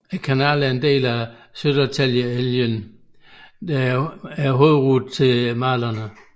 Kanalen er en del af Södertäljeleden der er hovedsejlruten til Mälaren